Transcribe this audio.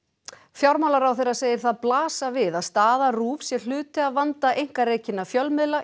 fjármálaráðherra segir það blasa við að staða RÚV sé hluti af vanda einkarekinna fjölmiðla